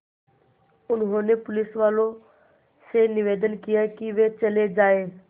उन्होंने पुलिसवालों से निवेदन किया कि वे चले जाएँ